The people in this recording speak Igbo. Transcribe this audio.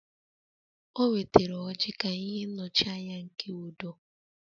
O wetara ọrji ka ihe nnọchianya nke udo